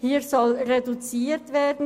Hier soll der Aufwand reduziert werden.